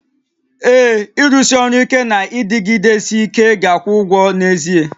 Ee, ịrụsi ọrụ ike na ịdịgidesi ike ga-akwụ ụgwọ n'ezie